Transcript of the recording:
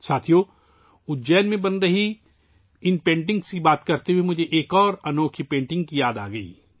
ساتھیو ، اجین میں بن رہی ، اِن پینٹنگز کی بات کرتے ہوئے ، مجھے ایک اور انوکھی پینٹنگ کی یاد آ رہی ہے